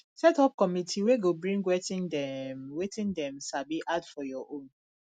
set up committe wey go bring wetin dem wetin dem sabi add for your own